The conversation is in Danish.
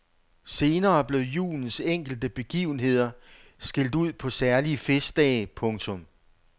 Senere blev julens enkelte begivenheder skilt ud på særlige festdage. punktum